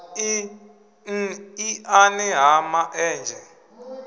n iani ha ma enzhe